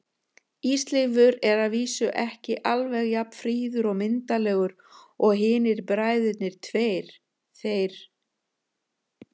Ísleifur er að vísu ekki alveg jafn fríður og myndarlegur og hinir bræðurnir tveir, þeir